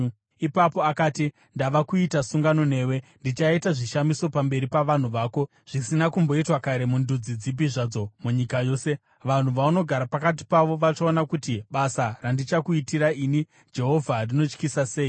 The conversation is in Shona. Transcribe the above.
Ipapo akati, “Ndava kuita sungano newe. Ndichaita zvishamiso pamberi pavanhu vako zvisina kumboitwa kare mundudzi dzipi zvadzo munyika yose. Vanhu vaunogara pakati pavo vachaona kuti basa randichakuitira ini, Jehovha rinotyisa sei.